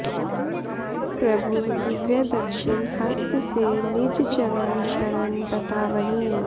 प्रभु दिव्य दक्षिण हस्त से निज चरण शरण बतावहीं